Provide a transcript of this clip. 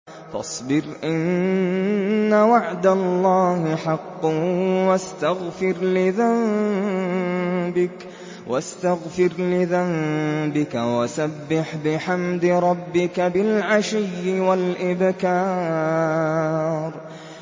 فَاصْبِرْ إِنَّ وَعْدَ اللَّهِ حَقٌّ وَاسْتَغْفِرْ لِذَنبِكَ وَسَبِّحْ بِحَمْدِ رَبِّكَ بِالْعَشِيِّ وَالْإِبْكَارِ